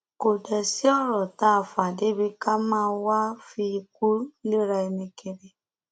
kò dé sí ọrọ tá a fà débi ká máa wáá fi ikú léra ẹni kiri